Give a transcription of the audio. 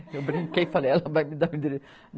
Eu brinquei, falei, ela vai me dar o endereço.